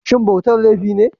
Shin bautar laifi ne?